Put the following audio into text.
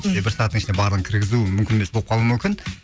бізге бір сағаттың ішінде барлығын кіргізу мүмкін емес болып қалуы мүмкін